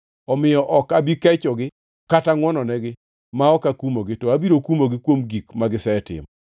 Omiyo ok abi kechogi kata ngʼwononigi ma ok akumogi, to abiro kumogi kuom gik magisetimo.”